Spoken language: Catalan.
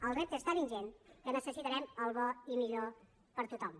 el repte és tan ingent que necessitarem el bo i millor per a tothom